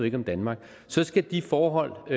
ikke om danmark så skal de forhold